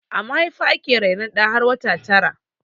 A mahaifa ake rainon ɗa har wata tara